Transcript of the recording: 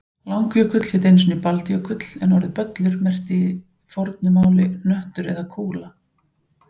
Langjökull hét einu sinni Baldjökull en orðið böllur merkti í fornu máli hnöttur eða kúla.